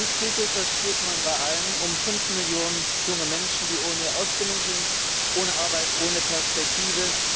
Uns geht es das spürt man bei allen um 5 Millionen junge Menschen, die ohne Ausbildung sind, ohne Arbeit, ohne Perspektive.